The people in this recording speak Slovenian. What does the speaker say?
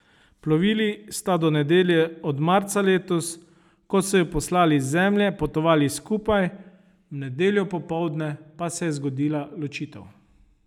Plovili sta do nedelje od marca letos, ko so ju poslali z Zemlje, potovali skupaj, v nedeljo popoldne pa se je zgodila ločitev.